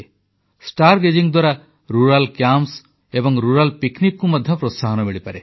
star gazing ଦ୍ୱାରା ଗ୍ରାମୀଣ camp ଓ ଗ୍ରାମୀଣ ବଣଭୋଜିକୁ ମଧ୍ୟ ପ୍ରୋତ୍ସାହନ ମିଳିପାରେ